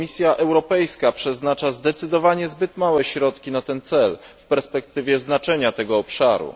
Komisja Europejska przeznacza zdecydowanie zbyt małe środki na ten cel w perspektywie znaczenia tego obszaru.